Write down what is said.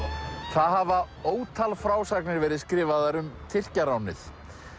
það hafa ótal frásagnir verið skrifaðar um Tyrkjaránið